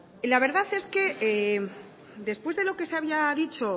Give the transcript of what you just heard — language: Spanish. la verdad es que después de lo que había dicho